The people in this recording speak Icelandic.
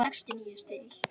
Þau borga hann ekki.